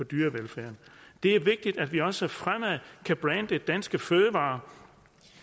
dyrevelfærd det er vigtigt at vi også fremover kan brande danske fødevarer